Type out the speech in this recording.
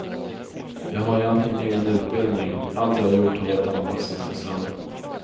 Jag har egentligen ingen utbildning, allt jag gjort har varit anpassat för sändning.